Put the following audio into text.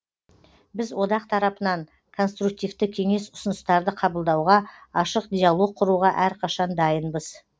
біз одақ тарапынан конструктивті кеңес ұсыныстарды қабылдауға ашық диалог құруға әрқашан дайынбыз